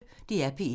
DR P1